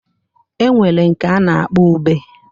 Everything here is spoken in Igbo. E nwere nke a na-akpọ ube.